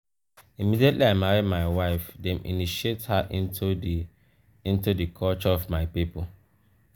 immediately i marry my wife dem initiate her into di into di culture of my pipo.